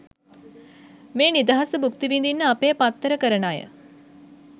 මේ නිදහස භූක්ති විදින්න අපේ පත්තර කරන අය